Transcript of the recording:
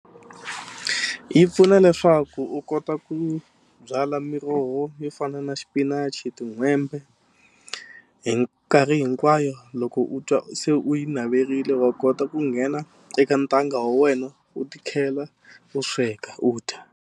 Yi pfuna leswaku u kota ku byala miroho yo fana na xipinachi tin'hwembe hi nkarhi hinkwayo loko u twa u se u yi naverile wa kota ku nghena eka ntanga wa wena u tikhela u sweka u dya.